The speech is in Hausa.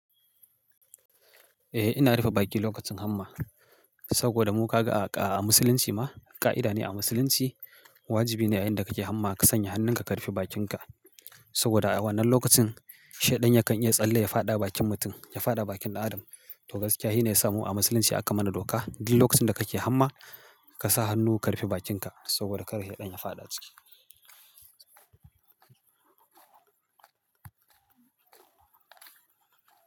Eh ina rufe baki lokacin hamma saboda mu ka ga a musulunci ma ƙa'ida ne a musulunci wajibi ne a yayin da kake hamma ka sanya hannunka ka rufe bakinka saboda a wannan lokacin sheɗan yakan iya tsalle ya faɗa bakin mutum, ya faɗa bakin ɗan adam. To gaskiya shi ne ya samu a musulunci aka mana doka duk lokacin da kake hamma ka sa hannu ka rufe bakinka saboda kar shaɗan ya faɗa ciki.